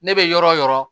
Ne bɛ yɔrɔ o yɔrɔ